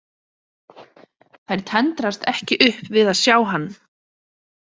Þær tendrast ekki upp við að sjá hann.